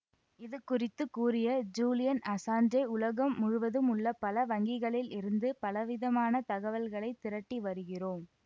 இதுகுறித்து கூறிய Julian Assange உலகம் முழுவதும் உள்ள பல வங்கிகளில் இருந்து பலவிதமான தகவல்களை திரட்டி வருகிறோம்